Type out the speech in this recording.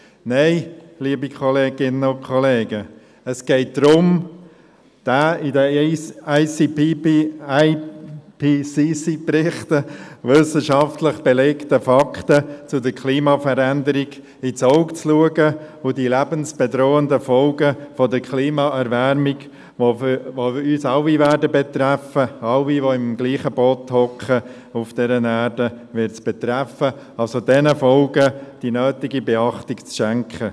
– Nein, liebe Kolleginnen und Kollegen, es geht darum, den im IPCC-Bericht wissenschaftlich belegten Fakten zur Klimaveränderung ins Auge zu blicken und den lebensbedrohenden Folgen der Klimaerwärmung, die uns alle betreffen werden – alle auf dieser Erde werden im selben Boot sitzen und es wird sie alle betreffen –, die nötige Beachtung zu schenken.